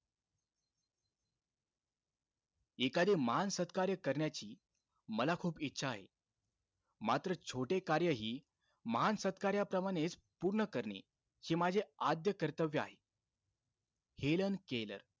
एखादे महान सत्कार्य करण्याची मला खूप इच्छा आहे. मात्र छोटे कार्यही महान सत्कार्याप्रमाणेच पूर्ण करणे, हे माझे आद्य कर्तव्य आहे. Helen Keller,